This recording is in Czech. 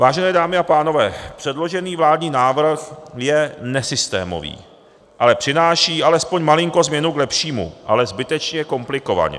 Vážené dámy a pánové, předložený vládní návrh je nesystémový, ale přináší alespoň malinkou změnu k lepšímu, ale zbytečně komplikovaně.